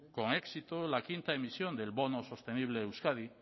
con éxito la quinta emisión del bono sostenible euskadi